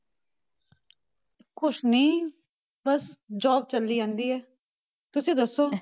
ਕੁਛ ਨੀ ਬਸ job ਚੱਲੀ ਜਾਂਦੀ ਹੈ, ਤੁਸੀਂ ਦੱਸੋ।